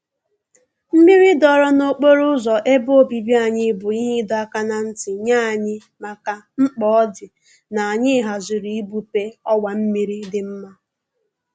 Mmiri dọọrọ n'okporo ụzọ ebe obibi anyị bụ ihe ịdọ aka na ntị nye anyị maka mkpa ọ dị n'anyị haziri igbupe ọwa mmiri dị nma